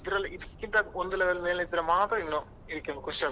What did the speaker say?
ಇದ್ರಲ್ಲಿ ಇದ್ಕಿಂತ ಒಂದು level ಮೇಲೆ ಇದ್ರೆ ಮಾತ್ರ ಇನ್ನು ಇದ್ಕಿಂತ ಖುಷಿ ಆಗುದು.